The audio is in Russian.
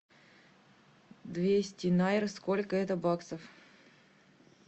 двести найр сколько это баксов